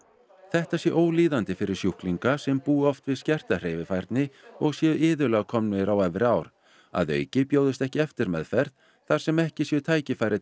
þetta sé ólíðandi fyrir sjúklinga sem búi oft við skerta hreyfifærni og séu iðulega komnir á efri ár að auki bjóðist ekki eftirmeðferð þar sem ekki séu tækifæri